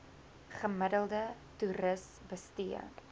gemiddelde toeris bestee